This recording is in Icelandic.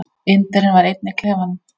Indverjinn var einn í klefanum.